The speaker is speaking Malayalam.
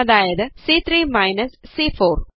അതായത് സി3 മൈനസ് സി4